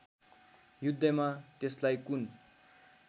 युद्धमा त्यसलाई कुन